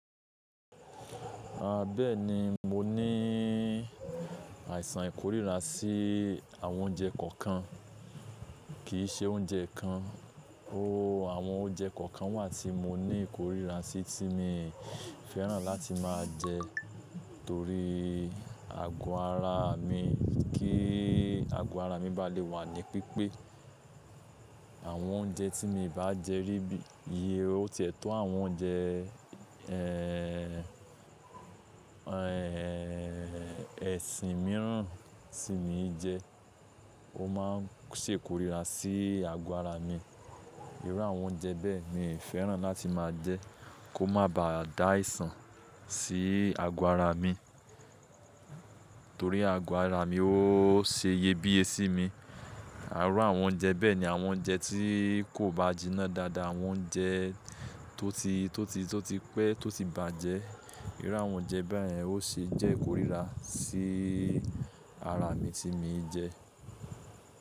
Bẹ́ẹ̀ni, mo ní àìsàn ìkorira sí àwọn oúnjẹ kọ̀ọ̀kan, kì í ṣe oúnjẹ kan. Oóòó àwọn oúnjẹ kọ̀ọ̀kan wà tí mo ní ìkorira sí tí mi fẹ́ràn láti máa jẹ torí ago ara mi, kí ago ara mi bá le wà ní pípé. Àwọn oúnjẹ tí mo bá jẹ rí bí iye tó tẹ́tọ́ àwọn oúnjẹ, ẹ́ẹ̀ ẹ́ẹ̀ ẹ̀sìn mìíràn tí mo jẹ, ó máa ń ṣe ìkorira sí ago ara mi. Irú àwọn oúnjẹ bẹ́ẹ̀ mi fẹ́ràn láti máa jẹ́ kó má ba à dá àìsàn sí ago ara mi torí ago ara mi ó ṣe iyebíye sí mi. Àárọ̀ àwọn oúnjẹ bẹ́ẹ̀ ni àwọn oúnjẹ tí kò bá jiná dáadáa, àwọn oúnjẹ tó ti pé tó ti bàjẹ́. Irú àwọn oúnjẹ bẹ́ẹ̀ yẹn ó ṣe jẹ́ ìkorira sí ara mi tí mo jẹ.